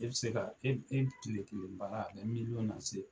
E bi se ka e kile kelen baara, a bi lase